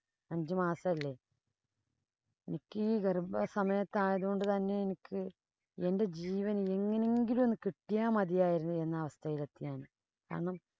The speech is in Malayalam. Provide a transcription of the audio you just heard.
അഞ്ചു മാസല്ലേ. എനിക്ക് ഗര്‍ഭസമയത്ത് ആയതു കൊണ്ട് തന്നെ എനിക്ക് എന്‍റെ ജീവന്‍ എങ്ങനെയെങ്കിലും കിട്ട്യാ മതിയാരുന്നു എന്ന അവസ്ഥയില്‍ എത്തിഞാന്‍. കാരണം,